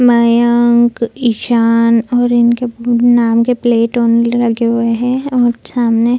मयंक ईशान और इनके नाम के प्लेट ओनली लगे हुए है और सामने --